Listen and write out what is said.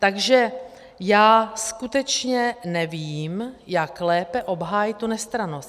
Takže já skutečně nevím, jak lépe obhájit tu nestrannost.